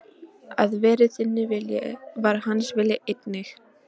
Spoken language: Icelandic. Að verði þinn vilji, var hans vilji einnig.